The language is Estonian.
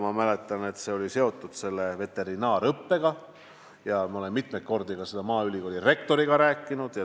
Ma mäletan, et see oli seotud veterinaariaõppega, ja ma olen mitmeid kordi sellest ka maaülikooli rektoriga rääkinud.